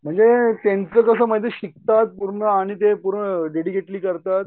म्हणजे त्यांचं कसं माहिती शिकतात पूर्ण आणि ते पूर्ण डेडीकेटली करतात.